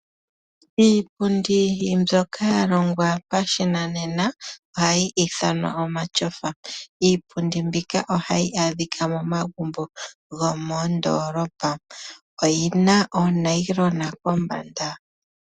Iipundi mbyoka ya longwa pashinanena ohayi ithanwa omatyofa. Iipundi mbika ohayi adhika momagumbo gomoondoolopa. Oyina oonayilona kombanda.